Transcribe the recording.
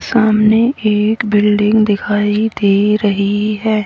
सामने एक बिल्डिंग दिखाई दे रही है।